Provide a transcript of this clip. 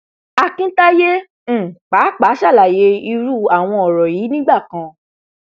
akintayé um pàápàá ṣàlàyé irú àwọn ọrọ yìí nígbà kan